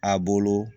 A bolo